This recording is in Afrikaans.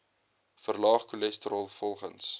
verlaag cholesterol volgens